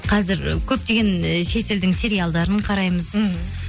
қазір көптеген і шетелдің сериалдарын қараймыз мхм